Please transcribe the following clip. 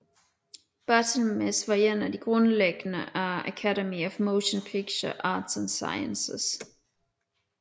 Barthelmess var en af grundlæggerne af Academy of Motion Picture Arts and Sciences